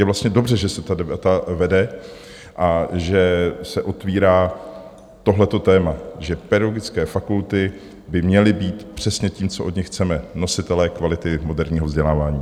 Je vlastně dobře, že se ta debata vede a že se otvírá tohle téma: že pedagogické fakulty by měly být přesně tím, co od nich chceme - nositeli kvality moderního vzdělávání.